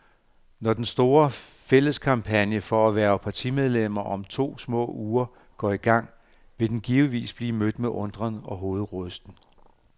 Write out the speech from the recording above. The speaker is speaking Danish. Når den store, fælles kampagne for at hverve partimedlemmer om små to uger går i gang, vil den givetvis blive mødt med undren og hovedrysten.